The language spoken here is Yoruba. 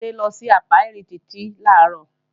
Tádé lọ sí ápíárì Títí làárọ̀